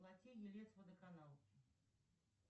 оплати елец водоканал